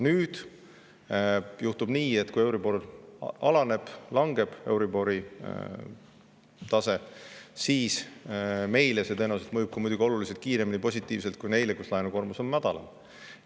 Nüüd juhtub nii, et kui euribor alaneb, euribori tase langeb, siis meile mõjub see positiivselt tõenäoliselt oluliselt kiiremini kui neile, kellel laenukoormus on madalam.